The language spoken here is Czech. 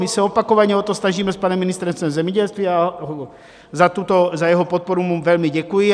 My se opakovaně o to snažíme s panem ministrem zemědělství a za jeho podporu mu velmi děkuji.